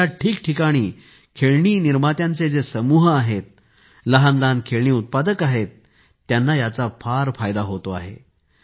देशात खेळणी निर्मात्यांचे जे समूह आहेत लहानलहान खेळणी उत्पादक आहेत त्यांना याचा फार फायदा होतो आहे